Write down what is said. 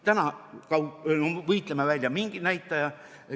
Täna võitleme välja mingi näitaja.